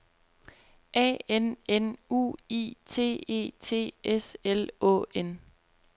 A N N U I T E T S L Å N